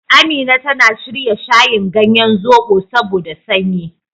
Amina tana shirya shayin ganyen zoɓo saboda sanyi.